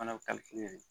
Fana bɛ de